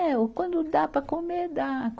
É, o quando dá para comer, dá.